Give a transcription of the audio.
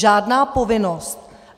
Žádná povinnost.